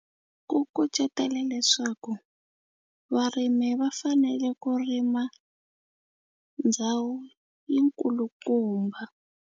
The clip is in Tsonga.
Ku kucetela leswaku varimi va fanele ku rima ndhawu yi nkulukumba.